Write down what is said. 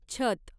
छत